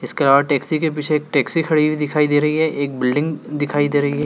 इसके अलावा टैक्सी के पीछे एक टैक्सी खड़ी हुई दिखाई दे रही है एक बिल्डिंग दिखाई दे रही है।